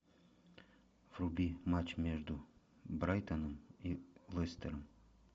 вруби матч между брайтоном и лестером